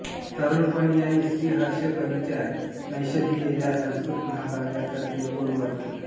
तरुणपणी याने श्रीहर्ष कवीच्या नैषधीय या संस्कृत महाकाव्याचा तेलुगू अनुवाद केला